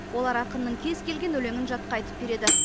олар ақынның кез келген өлеңін жатқа айтып береді